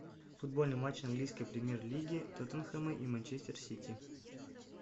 футбольный матч английской премьер лиги тоттенхэма и манчестер сити